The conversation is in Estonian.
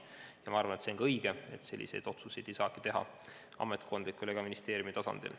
Ja ma arvan, et see on õige, selliseid otsuseid ei saagi teha ametkondlikul ega ministeeriumi tasandil.